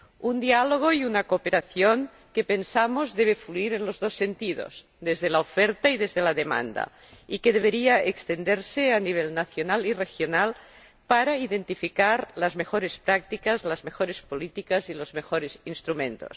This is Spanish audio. Un diálogo y una cooperación que, pensamos, deben fluir en los dos sentidos, desde la oferta y desde la demanda, y que deberían extenderse a nivel nacional y regional para identificar las mejores prácticas, las mejores políticas y los mejores instrumentos.